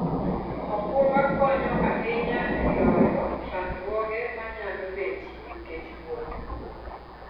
okumba konyo ahinya e loyo chandruoge manyalo betie nikech wuoth.